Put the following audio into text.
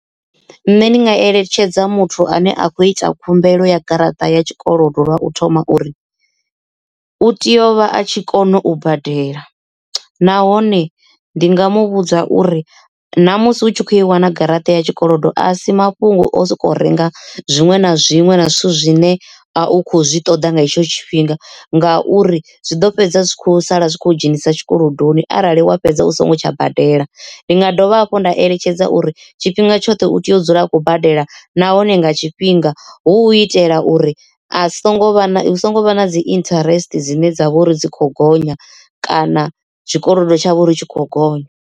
Nṋe ndi nga eletshedza muthu ane a khou ita khumbelo ya garaṱa ya tshikolodo lwa u thoma uri u tea u vha a tshi kone u badela nahone ndi nga mu vhudza uri na musi hu tshi khou i wana garaṱa ya tshikolodo a si mafhungo o soko renga zwiṅwe na zwiṅwe na zwithu zwine a u kho zwiṱoḓa nga hetsho tshifhinga. Ngauri zwi ḓo fhedza zwi kho sala zwi kho dzhenisa zwikolodoni arali wa fhedza u songo tsha badela ndi nga dovha hafhu nda eletshedza uri tshifhinga tshoṱhe u tea u dzula a khou badela nahone nga tshifhinga hu itela uri a songo vha na hu songo vha na dzi interest dzine dza vha uri dzi kho gonya kana tshikolodo tshawe ri tshi khou gonya.